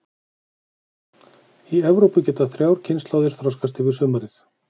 Í Evrópu geta þrjár kynslóðir þroskast yfir sumarið.